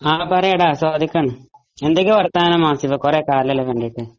ആ പറയെടാ സ്വാദിഖ് ആണ് എന്തൊക്കെ വർത്താനം ആസിഫെ കുറെ കാലമായല്ലോ കണ്ടിട്ട്